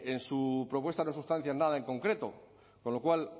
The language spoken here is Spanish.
en su propuesta no sustancian nada en concreto con lo cual